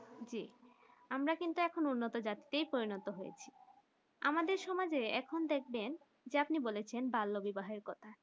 জি আমরা যে কিন্তু উন্নত জাতিতে পরিণত হয়েছি আমাদের সমাজের এখন দেখবেন যে আপনি বলেছেন বাল্য বিবাহ কথা